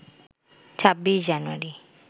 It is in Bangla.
২৬ জানুয়ারি